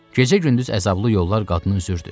Gecə-gündüz əzablı yollar qadını üzürdü.